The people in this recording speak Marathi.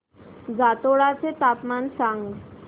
जातोडा चे तापमान सांग